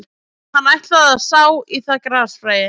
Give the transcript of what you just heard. Hann ætlaði að sá í það grasfræi